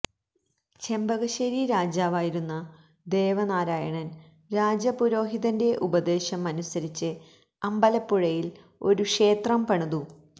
ചെമ്പകശ്ശേരി രാജാവായിരുന്ന ദേവനാരായണന് രാജപുരോഹിതന്റെ ഉപദേശം അനുസരിച്ച് അമ്പലപ്പുഴയില് ഒരു ക്ഷേത്രം പണിതു